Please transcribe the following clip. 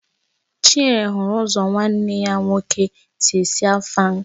Chinyere hụrụ ụzọ nwanne ya nwoke si esi Afang